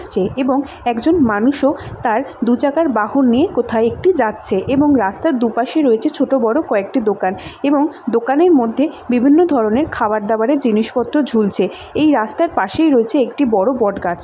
এবং একজন মানুষও তার দুচাকারবাহন নিয়ে কোথায় একটি যাচ্ছেএবং রাস্তার দুপাশে রয়েছে ছোট বড় কয়েকটি দোকান এবং দোকানের মধ্যে বিভিন্ন ধরনের খাবার দাবারের জিনিসপত্র ঝুলছে এই রাস্তার পাশেই রয়েছে একটি বড় বটগাছ।